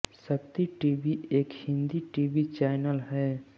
शक्ति टीवी एक Hindi TV channel है